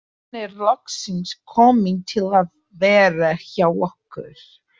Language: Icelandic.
Hann er loksins kominn til að vera hjá okkur.